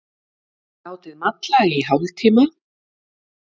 Látið malla í hálftíma.